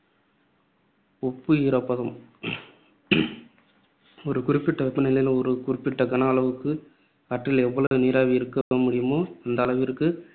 ஒப்பு ஈரப்பதம் ஒரு குறிப்பிட்ட வெப்பநிலையில் ஒரு குறிப்பிட்ட கன அளவுக்கு காற்றில் எவ்வளவு நீராவி இருக்க முடியுமோ அந்த அளவிற்கு,